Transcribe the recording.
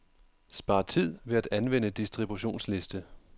Spar tid ved at anvende distributionsliste.